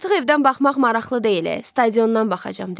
Artıq evdən baxmaq maraqlı deyil, stadiondan baxacaqam dedi.